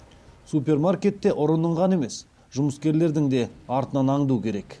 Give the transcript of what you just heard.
супермаркетте ұрының ғана емес жұмыскерлердің де артынан аңду керек